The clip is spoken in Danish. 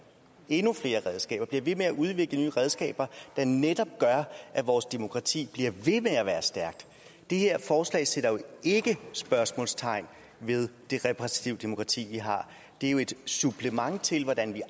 endnu flere redskaber bliver ved med at udvikle nye redskaber der netop gør at vores demokrati bliver ved med at være stærkt det her forslag sætter jo ikke spørgsmålstegn ved det repræsentative demokrati vi har det er jo et supplement til hvordan vi